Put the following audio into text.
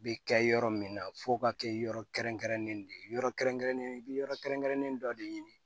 Bɛ kɛ yɔrɔ min na f'o ka kɛ yɔrɔ kɛrɛnkɛrɛnnen de ye yɔrɔ kɛrɛnkɛrɛnnen i bɛ yɔrɔ kɛrɛnkɛrɛnnen dɔ de ɲini